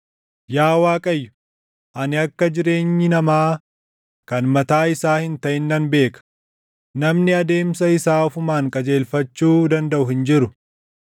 Yaa Waaqayyo, ani akka jireenyi namaa // kan mataa isaa hin taʼin nan beeka; namni adeemsa isaa ofumaan qajeelfachuu dandaʼu hin jiru.